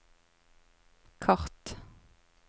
kart